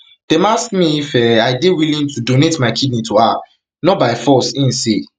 dem ask me me if um i dey willing to donate my kidney to her not by force im say um